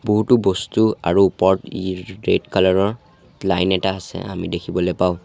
বহুতো বস্তু আৰু ওপৰত ইৰ ৰেড কালাৰ ৰ লাইন এটা আছে আমি দেখিবলে পাওঁ।